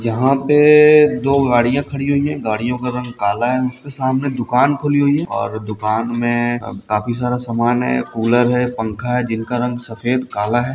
यहां पे दो गाड़ी खड़ी हुई है गाड़ियो का रंग काला है उसके सामने दुकान खुली हुई है और दुकान मे काफी सारा समान है कूलर है पंखा है जिनका रंग सफेद काला है।